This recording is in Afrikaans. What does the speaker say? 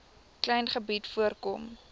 klein gebied voorkom